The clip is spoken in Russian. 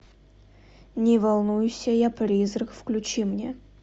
не волнуйся я призрак включи мне